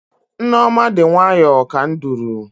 Nneoma dị nwayọọ ka nduru.